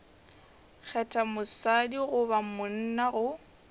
kgetha mosadi goba monna go